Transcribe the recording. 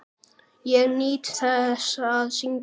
Ég nýt þess að syngja.